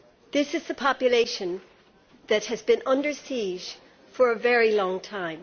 This is a population that has been under siege for a very long time.